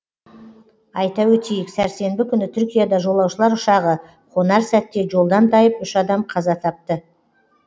айта өтейік сәрсенбі күні түркияда жолаушылар ұшағы қонар сәтте жолдан тайып үш адам қаза тапты